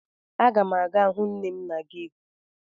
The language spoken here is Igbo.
Aga m aga hụ nne m na geeti.